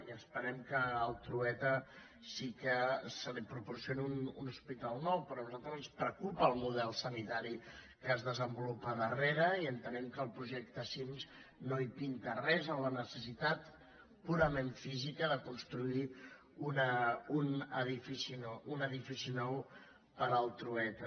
i esperem que al trueta sí que se li proporcioni un hospital nou però a nosaltres ens preocupa el model sanitari que es desenvolupa al darrere i entenem que el projecte cims no hi pinta res en la necessitat purament física de construir un edifici nou per al trueta